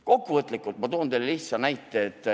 Kokkuvõtlikult toon teile lihtsa näite.